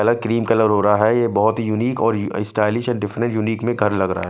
Colour cream colour हो रहा है यह बहोत ही यूनिक और स्टाइलिश और डेफिनेट यूनिक में घर लग रहां है।